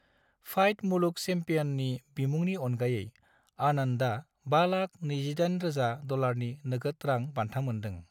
फाइड मुलुग चैंपियननि बिमुंनि अनगायै, आनंदआ 528,000 डलारनि नोगोद रां बान्था मोनदों।